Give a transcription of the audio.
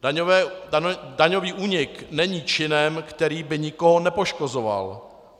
Daňový únik není činem, který by nikoho nepoškozoval.